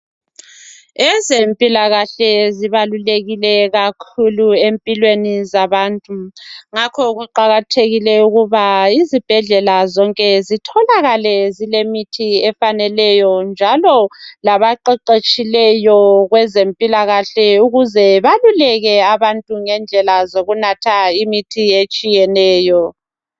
Ezempilakahle zibalulekile kakhulu empilweni zabantu, ngakho kuqakathekile ukuba izibhedlela zonke zitholakale zilemithi efaneleyo njalo labaqeqetshileyo kwezempilakahle ukuze baluleke bantu ngendlela zokunatha imithi etshiyeneyo.